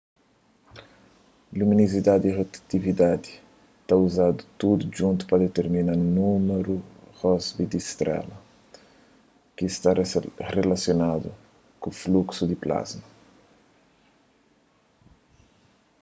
luminozidadi y rotatividadi ta uzadu tudu djuntu pa ditirmina númeru rossby di un strela ki sta rilasionadu ku fluksu di plasma